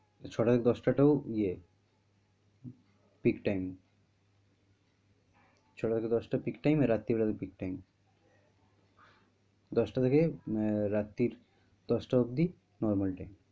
ছটা থেকে দশটা টাও ইয়ে pick time ছটা থেকে দশটা pick time এ রাত্তির বেলা pick time দশটা থেকে আহ রাত্তির দশটা অবধি normal time